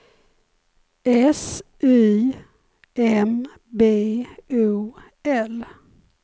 S Y M B O L